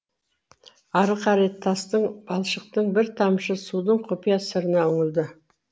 ары қарай тастың балшықтың бір тамшы судың құпия сырына үңілді